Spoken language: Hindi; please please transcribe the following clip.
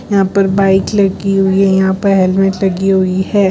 यहां पर बाइक लगी हुई है यहां पे हेलमेट लगी हुई है।